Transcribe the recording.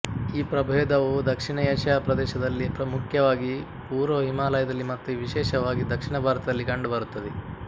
ಈ ಪ್ರಭೇದವು ದಕ್ಷಿಣ ಏಷ್ಯಾ ಪ್ರದೇಶದಲ್ಲಿ ಮುಖ್ಯವಾಗಿ ಪೂರ್ವ ಹಿಮಾಲಯದಲ್ಲಿ ಮತ್ತು ವಿಶೇಷವಾಗಿ ದಕ್ಷಿಣ ಭಾರತದಲ್ಲಿ ಕಂಡುಬರುತ್ತದೆ